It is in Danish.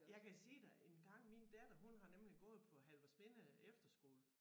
Jeg kan sige dig engang min datter hun har nemlig gået på Halvorsminde Efterskole